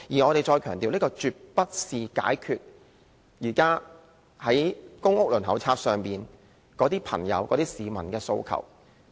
我們再強調，這絕不能解決現在公屋輪候冊上市民的訴求。